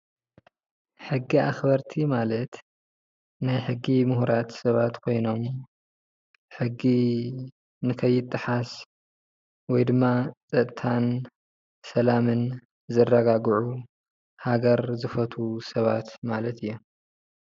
ሕጊ ኣኽበርቲ ማለት ናይ ሕጊ ሙሁራት ሰባት ኮይኖም ሕጊ ንከይጠሓስ ወይድማ ፀጥታን ሰላምን ዘረጋግዑ ሃገር ዝፈትው ሰባት ማለት እዮም።